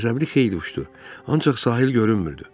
Qəzəbli xeyli uçdu, ancaq sahil görünmürdü.